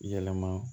Yɛlɛma